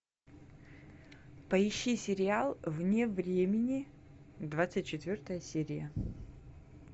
поищи сериал вне времени двадцать четвертая серия